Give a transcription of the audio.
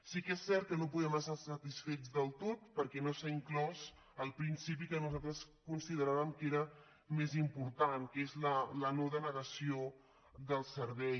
sí que és cert que no en podem estar satisfets del tot perquè no s’hi ha inclòs el principi que nosaltres consideràvem que era més important que és la no denegació del servei